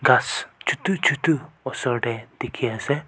gass chotu chotu osor te dekhi ase.